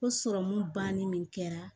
Ko sɔrɔmu bannen min kɛra